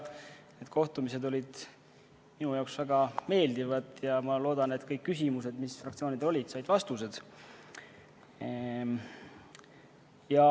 Need kohtumised olid minu jaoks väga meeldivad ja ma loodan, et kõik küsimused, mis fraktsioonidel olid, said vastused.